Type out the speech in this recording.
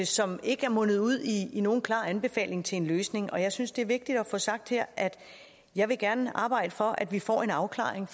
som ikke er mundet ud i nogen klar anbefaling til en løsning jeg synes det er vigtigt at få sagt her at jeg gerne vil arbejde for at vi får en afklaring